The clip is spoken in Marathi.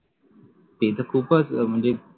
ते खूपच म्हणजे